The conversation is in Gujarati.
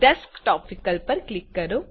ડેસ્કટોપ વિકલ્પ પર ક્લિક કરો